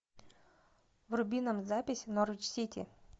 вруби нам запись норвич сити